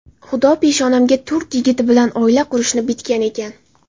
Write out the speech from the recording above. Xudo peshonamga turk yigiti bilan oila qurishni bitgan ekan.